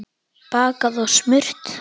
Bakað og smurt.